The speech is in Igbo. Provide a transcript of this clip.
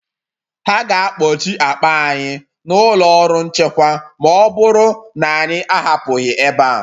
Ha ga-akpọchi akpa anyị n’ụlọ ọrụ nchekwa ma ọ bụrụ na anyị ahapụghị ebe a